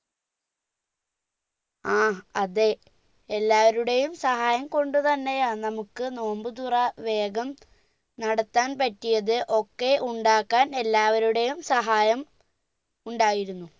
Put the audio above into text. ആ അതെ എല്ലാവരുടെയും സഹായം കൊണ്ട് തന്നെയാ നമ്മുക്ക് നോമ്പ് തുറ വേഗം നടത്താൻ പറ്റിയത് ഒക്കെ ഉണ്ടാക്കാൻ എല്ലാവരുടെയും സഹായം ഉണ്ടായിരുന്നു